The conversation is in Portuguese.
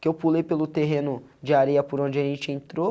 Que eu pulei pelo terreno de areia por onde a gente entrou.